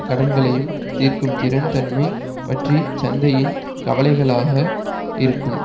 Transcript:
கடன்களையும் தீர்க்கும் திறன் தன்மை பற்றி சந்தையின் கவலைகளாக இருக்கும்